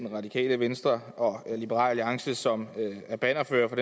radikale venstre og liberal alliance som er bannerførere for